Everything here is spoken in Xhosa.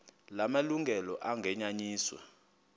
la malungelo anganyenyiswa